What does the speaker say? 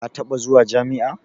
Ka taɓa zuwa jami'a?